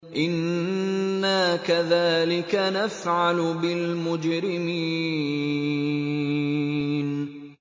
إِنَّا كَذَٰلِكَ نَفْعَلُ بِالْمُجْرِمِينَ